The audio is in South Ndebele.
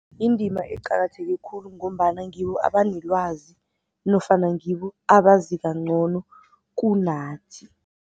Indima eqakatheke khulu ngombana ngibo abanelwazi nofana ngibo abazi ncono kunathi.